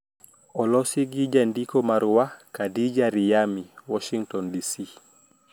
Olosi gi jandiko marwa Khadija Riyami, Washingtin, DC.